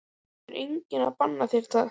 Það er enginn að banna þér það.